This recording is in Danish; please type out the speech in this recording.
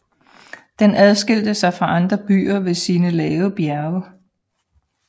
Den adskilte sig fra andre byer ved sine lave bjerge